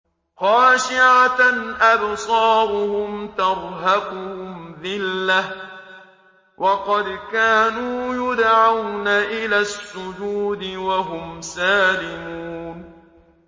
خَاشِعَةً أَبْصَارُهُمْ تَرْهَقُهُمْ ذِلَّةٌ ۖ وَقَدْ كَانُوا يُدْعَوْنَ إِلَى السُّجُودِ وَهُمْ سَالِمُونَ